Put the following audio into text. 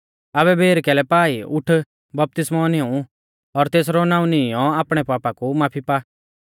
आबै बेर कैलै पा ई उठ बपतिस्मौ निऊं और तेसरौ नाऊं नीईंयौ आपणै पाप कु माफी पा